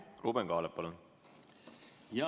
Ruuben Kaalep, palun!